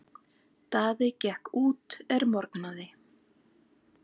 Daði gekk út er morgnaði.